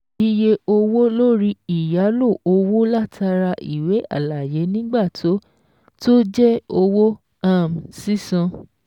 Iye owó lórí ìyálò owó látara ìwé àlàyé nígbà tó tó jẹ́ owó um sísan